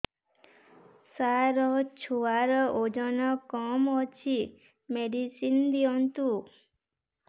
ସାର ଛୁଆର ଓଜନ କମ ଅଛି ମେଡିସିନ ଦିଅନ୍ତୁ